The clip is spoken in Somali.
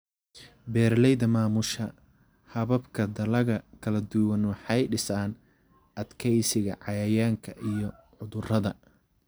Beeralayda maamusha hababka dalagga kala duwan waxay dhisaan adkeysiga cayayaanka iyo cudurrada.